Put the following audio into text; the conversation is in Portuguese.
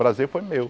Prazer foi meu.